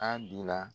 An bi na